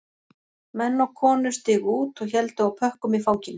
Menn og konur stigu út og héldu á pökkum í fanginu